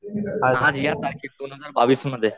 आज या तारखेला दोनहजार बावीस मध्ये